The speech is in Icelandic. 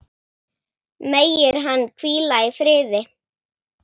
Megir hann hvíla í friði.